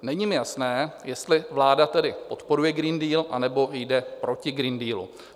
Není mi jasné, jestli vláda tedy podporuje Green Deal, anebo jde proti Green Dealu.